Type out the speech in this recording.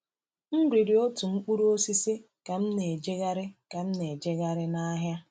M riri otu mkpụrụ osisi ka m na-ejegharị ka m na-ejegharị n’ahịa.